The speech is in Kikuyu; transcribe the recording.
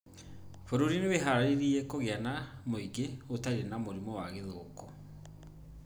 Bũrũri wĩharĩirie kũgĩa na mũingĩ ũtarĩ na mũrimũ wa gĩthũkũ